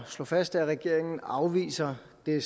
slå fast at regeringen afviser det